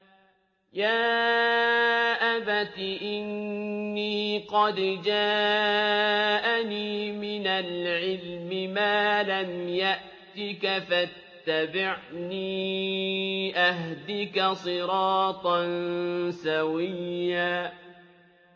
يَا أَبَتِ إِنِّي قَدْ جَاءَنِي مِنَ الْعِلْمِ مَا لَمْ يَأْتِكَ فَاتَّبِعْنِي أَهْدِكَ صِرَاطًا سَوِيًّا